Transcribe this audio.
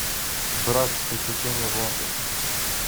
братц приключения в лондоне